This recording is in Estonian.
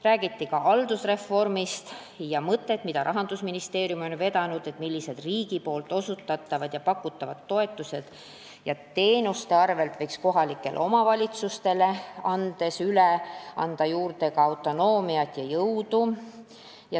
Räägiti ka haldusreformist ja mõttest, mida Rahandusministeerium on vedanud, nimelt, millised riigi pakutavad toetused ja osutatavad teenused võiks üle anda kohalikele omavalitsustele, nii et tuleks juurde ka autonoomiat ja jõudu.